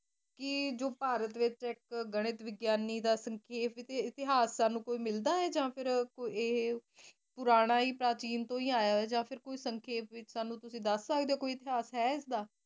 ਕੀ ਜੋ ਭਾਰਤ ਵਿਚ ਇਕ ਗਣਿਤ ਵਿਗਿਆਨੀ ਦਾ ਸੰਖ੍ਯਤ ਵੀ ਟੀ ਇਤਹਾਸ ਸਾਨੂ ਕੋਈ ਮਿਲ ਦਾ ਆਏ ਜਾ ਫਿਰ ਕੋਈ ਆਏ ਪੁਰਾਣਾ ਏਈ ਪ੍ਰਤੀਨ ਤੋ ਯਾ ਜਾ ਫਿਰ ਕੋਈ ਸੰਖ੍ਯਤ ਵਿਚ ਸਾਨੂ ਕੋਈ ਦਸ ਸਕ ਦੇ ਊ ਕੋਈ ਇਤਹਾਸ ਹੈ ਇਸ ਦਾ